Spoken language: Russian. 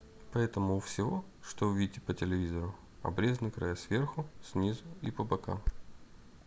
поэтому у всего что вы видите по телевизору обрезаны края сверху снизу и по бокам